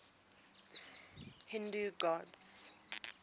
hindu gods